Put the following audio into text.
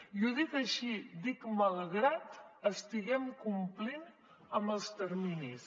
i ho dic així dic malgrat que estiguem complint amb els terminis